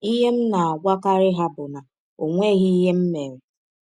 Ihe m na - agwakarị ha bụ na ọ nweghị ihe m mere.